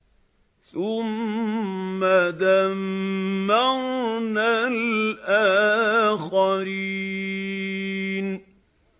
ثُمَّ دَمَّرْنَا الْآخَرِينَ